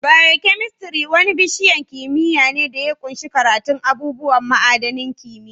Biokemistri wani bishiyan kimiyya ne da ya ƙunshi karatun abubuwan ma'adanin kimiyya.